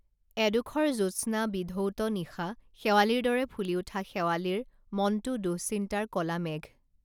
এডোখৰ জোৎস্না বিধৌত নিশা শেৱালিৰ দৰে ফুলি উঠা শেৱালিৰ মনটো দুঃচিন্তাৰ কলা মেঘ